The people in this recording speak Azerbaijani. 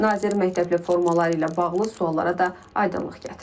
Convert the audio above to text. Nazir məktəbli formaları ilə bağlı suallara da aydınlıq gətirib.